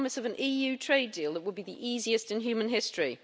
and the promise of an EU trade deal that would be the easiest in human history?